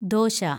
dosa